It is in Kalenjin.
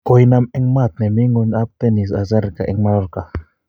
kuinam en maat ne mi ng'wong ab tenis, Azarenka en Mallorca.